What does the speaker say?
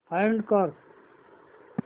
find कर